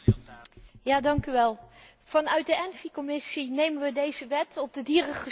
Vanuit de Commissie ENVI nemen wij deze wet op de dierengezondheid uiterst serieus.